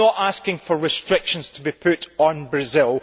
I am not asking for restrictions to be put on Brazil